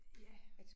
Ja